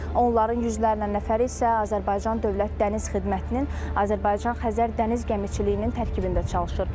Onların yüzlərlə nəfəri isə Azərbaycan Dövlət Dəniz Xidmətinin, Azərbaycan Xəzər Dəniz Gəmiçiliyinin tərkibində çalışır.